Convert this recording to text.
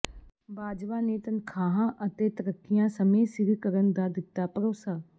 ਬਾਜਵਾ ਨੇ ਤਨਖ਼ਾਹਾਂ ਅਤੇ ਤਰੱਕੀਆਂ ਸਮੇਂ ਸਿਰ ਕਰਨ ਦਾ ਦਿੱਤਾ ਭਰੋਸਾ